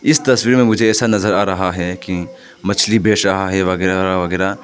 इस तस्वीर में मुझे ऐसा नजर आ रहा है की मछली बेच रहा है वगैरा वगैरा।